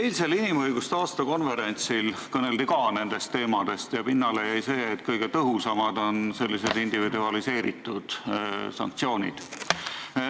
Eilsel inimõiguste aastakonverentsil kõneldi ka nendest teemadest ja pinnale jäi seisukoht, et kõige tõhusamad on sellised individualiseeritud sanktsioonid.